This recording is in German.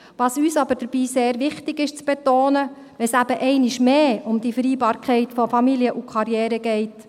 Was uns dabei aber sehr wichtig zu betonen ist, wenn es eben einmal mehr um die Vereinbarkeit von Familie und Karriere geht: